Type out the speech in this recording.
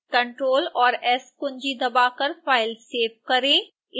ctrl और s कुंजी दबाकर फ़ाइल सेव करें